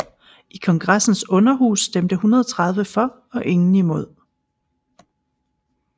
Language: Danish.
I kongressens underhus stemte 130 for og ingen imod